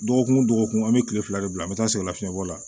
Dɔgɔkun o dɔgɔkun an bɛ tile fila de bila an bɛ taa sikalafiɲɛ bɔ la